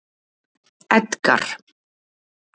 Edgar